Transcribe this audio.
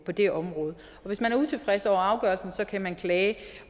på det område hvis man er utilfreds over afgørelsen kan klage